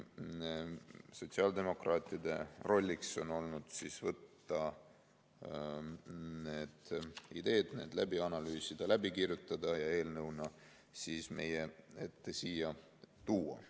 Sotsiaaldemokraatide roll on olnud võtta need ideed ja need läbi analüüsida, läbi kirjutada ja eelnõuna siia meie ette tuua.